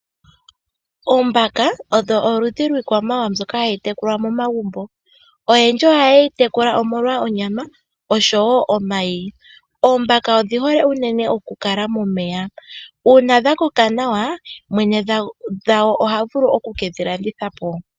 Oombaka odho oludhi lwiikwamawawa mbyoka hayi tekulwa momagumbo oyendji ohayeyi tekula molwa onyama osho wo omayi. Oombaka odhihole unene okukala momeya, una dhakoka nawa mwene dhago ohavulu okukedhi landitha po.